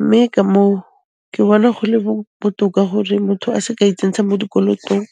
mme ka moo ke bona go le botoka gore motho a se ke a itsentsha mo dikolotong.